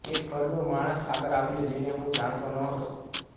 એક ઘરડો માણસ આગળ આવ્યો જેને હું જાણતો નહોતો